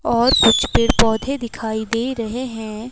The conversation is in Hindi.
और कुछ पेड़ पौधे दिखाई दे रहे हैं।